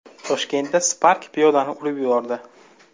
Toshkentda Spark piyodani urib yubordi.